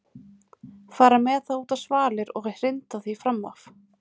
Fara með það út á svalir og hrinda því fram af.